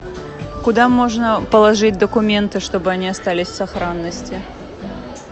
куда можно положить документы чтобы они остались в сохранности